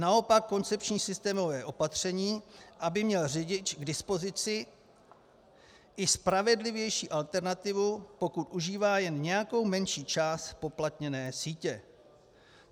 Naopak koncepční systémové opatření, aby měl řidič k dispozici i spravedlivější alternativu, pokud užívá jen nějakou menší část zpoplatněné sítě.